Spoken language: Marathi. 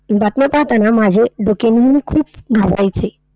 बातम्या पाहताना माझे डोके मी खूप घालवायचे.